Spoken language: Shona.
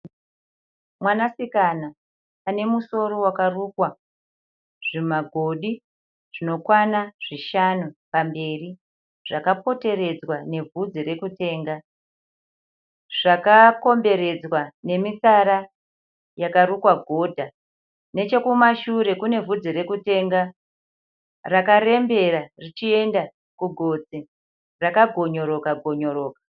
Mwanasikana anemusoro wakarukwa zvimagodi zvinokwana zvishanu pamberi zvakapoteredzwa nebvudzi rekutenga, zvakakomberedzwa nemitsara yakarukwa godha. Nechekumashure kune bvudzi rekutenga rakarembera richienda kugotsi rakagonyoroka - gonyoroka.